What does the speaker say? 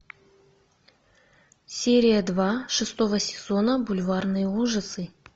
серия два шестого сезона бульварные ужасы